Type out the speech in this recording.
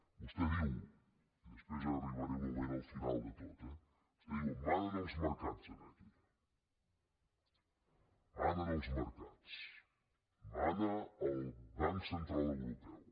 vostè diu i després hi arribaré un moment al final de tot eh manen els mercats aquí manen els mercats mana el banc central europeu